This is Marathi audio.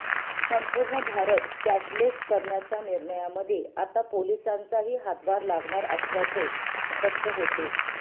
संपूर्ण भारत कॅशलेस करण्याच्या निर्णयामध्ये आता पोलिसांचाही हातभार लागणार असल्याचे स्पष्ट होते